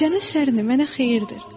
Gecənin sərinliyi mənə xeyirdir.